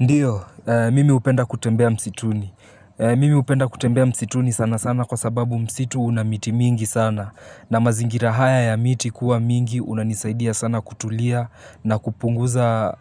Ndiyo, mimi hupenda kutembea msituni, mimi hupenda kutembea msituni sana sana kwa sababu msitu una miti mingi sana. Na mazingira haya ya miti kuwa mingi unanisaidia sana kutulia na kupunguza